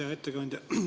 Hea ettekandja!